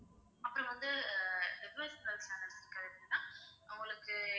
அப்பறம் வந்து devotional channels இருக்கு ma'am உங்களுக்கு